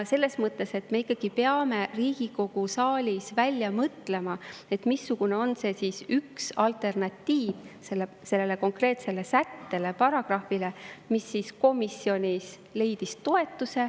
Selles mõttes me ikkagi peame Riigikogu saalis välja mõtlema, missugune on see üks alternatiiv sellele konkreetsele sättele, mis komisjonis leidis toetuse.